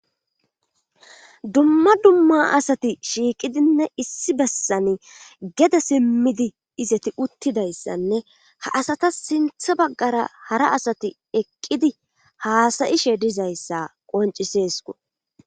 dumma dumma asati shiiqidinne issi bessan geda simmidi izati uttidayssanne ha asata sintha baggara hara asati eqqidi haasayishe dizayssa qoncisesko